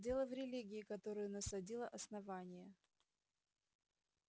дело в религии которую насадило основание